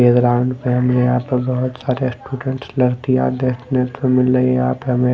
play ground है यहाँ पे बोहोत सारे स्टूडेंट मिलने यहाँ पे हमें--